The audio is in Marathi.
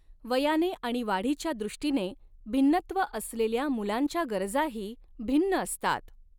वयाने आणि वाढीच्या दॄष्टीने भिन्नत्व असलेल्या मुलांच्या गरजाही भिन्न असतात.